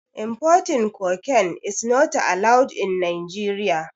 Importing cocaine is not allowed in Nigeria.